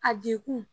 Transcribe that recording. A degun